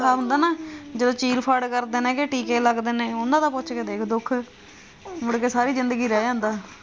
ਹੁੰਦਾ ਨਾ ਜਦੋਂ ਚੀਰ-ਫਾੜ ਕਰਦੇ ਨੇ ਟੀਕੇ ਲੱਗਦੇ ਨੇ ਉਨ੍ਹਾਂ ਦਾ ਪੁੱਛ ਕੇ ਦੇਖ ਦੁੱਖ ਮੁੜ ਕੇ ਸਾਰੀ ਜ਼ਿੰਦਗੀ ਰਹਿ ਜਾਂਦਾ।